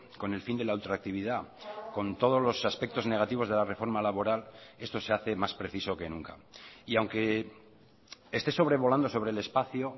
con el fin de la ultractividad con todos los aspectos negativos de la reforma laboral esto se hace más preciso que nunca y aunque esté sobrevolando sobre el espacio